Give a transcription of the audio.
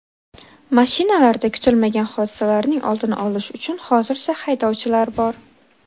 Mashinalarda kutilmagan hodisalarning oldini olish uchun hozircha haydovchilar bor.